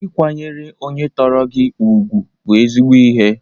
Ịkwanyere onye tọrọ gị ugwu bụ ezigbo ihe.